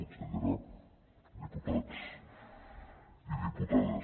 consellera diputats i diputades